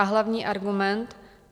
A hlavní argument?